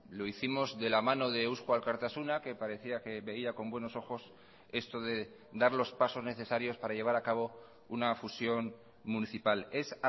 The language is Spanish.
lo hicimos de la mano de eusko alkartasuna que parecía que veía con buenos ojos esto de dar los pasos necesarios para llevar acabo una fusión municipal es